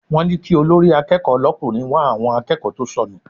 Wọ́n ní kí olórí akẹ́kọ̀ọ́ l'ọkùnrin wá àwọn akẹ́kọ̀ọ́ tó sọnù.